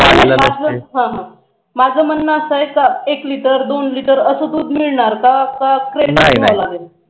माझ म्हणण अस आहे की एक liter दोन liter अस दूध मिळणार का नाही नाही